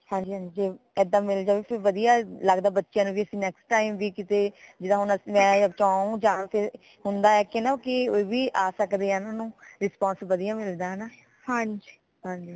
ਹਾਂਜੀ ਹਾਂਜੀ ਇਦਾ ਮੇਰੇ ਖਿਆਲ ਵਧੀਆ ਲਗਦਾ ਬੱਚਿਆਂ ਨੂੰ ਵੀ ਕਿ next time ਵੀ ਕੀਤੇ ਜਿਦਾ ਮੈ ਚਾਉ ਜਾ ਕਿ ਹੁੰਦਾ ਹੈ ਕਿ ਨਾ ਕਿ ਆ ਸਕਦੇ ਹੈ ਨਾ ਊਨਾ ਨੂ response ਵਧੀਆ ਮਿਲਦਾ ਹੈ ਨਾ ਹਾਂਜੀ